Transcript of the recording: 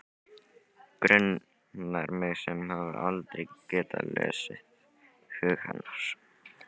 Grunar mig sem hef aldrei getað lesið hug hennar.